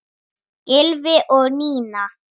Gylfi og Nína.